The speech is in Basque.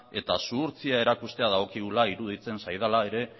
eta zuhurtzia erakustea dagokigula iruditzen zaidala ere